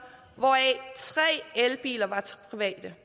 hvoraf tre elbiler var til private